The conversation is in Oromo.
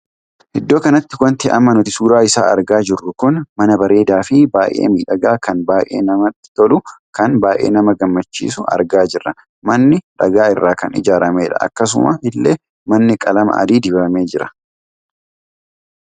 Iddoo kanatti wanti amma nuti suuraa isaa argaa jirru kun manaa bareedaa fi baay'ee miidhagaa kan baay'ee nama toluu kan baay'ee nama gammachiisu argaa jirra. manni dhugaa irraa kan ijaarameedha. akkasuma illee manni qalama adii dibamee jira.